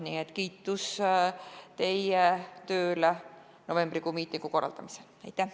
Nii et kiitus teie töö eest novembrikuise ürituse korraldamisel!